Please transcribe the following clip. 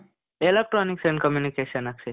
electronics and communication Akshay.